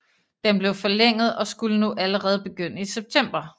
Den blev forlænget og skulle nu allerede begynde i september